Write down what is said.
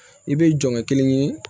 I bɛ jɔn kelen ye